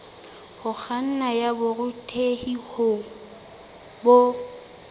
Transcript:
ho kganna ya borutehi bo